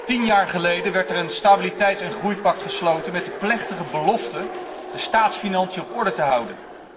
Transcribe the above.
Tien jaar geleden werd er een Stabiliteits en groeipact gesloten met de plechtige belofte de staatsfinanciën op orde te houden.